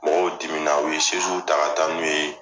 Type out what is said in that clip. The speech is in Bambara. Mɔgɔw dimina u ye ta ka taa n'u ye .